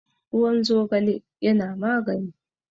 ruwan zogale yana magani